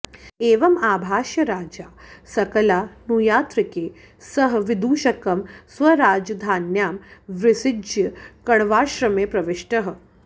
एवम् आभाष्य राजा सकलानुयात्रिकैः सह विदूषकं स्वराजधान्यां विसृज्य कण्वाश्रमे प्रविष्टः